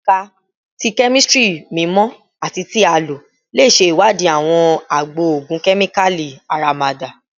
Ẹka ti Kemistri mimọ ati ti a lo le ṣe iwadii awọn agbo ogun kemikali aramada